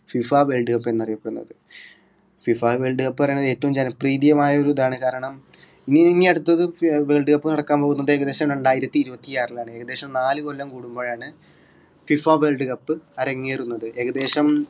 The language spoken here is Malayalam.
FIFAworld cup എന്നറിയപ്പെടുന്നത് FIFA world cup പറയുമ്പോ ഏറ്റവും ജനപ്രീതിയമായ ഒരു ഇതാണ് കാരണം ഈ ഇനി അടുത്തത് world cup നടക്കാൻ പോകുന്നത് ഏകദേശം രണ്ടായിരത്തി ഇരുപത്തി ആറിലാണ് ഏകദേശം നാല് കൊല്ലം കൂടുമ്പോഴാണ് FIFA world cup അരങ്ങേറുന്നത് ഏകദേശം